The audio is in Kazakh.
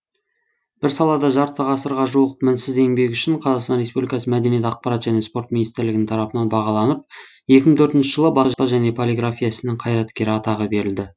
бір салада жарты ғасырға жуық мінсіз еңбегі үшін қазақстан республикасы мәдениет акпарат және спорт министрлігінің тарапынан бағаланып екі мың төртінші жылы баспа және полиграфия ісінің қайраткері атағы берілді